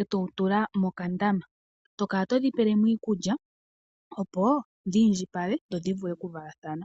e to wu tula mokandama to kala todhi pele mo iikulya opo dhi indjipale dho dhi vule okuvalathana.